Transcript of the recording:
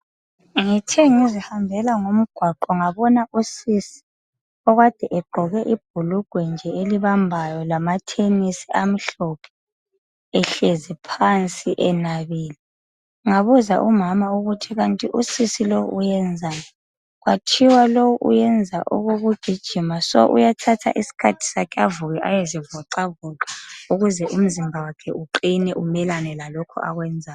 Ngithe ngizihambela ngimgwaqo ngabona usisi okade egqoke ibhulugwe elibambayo lamathenesi amhlophe ehlezi phansi enabile. Ngabuza umama ukuthi kanti usisi lowu wenzani kwathiwa wenza okokugijima ngakho uyathatha isikhathi sakhe avuke ayezivoxavoxa ukuze umzimba wakhe uqile umelane lalokhu akwenzayo.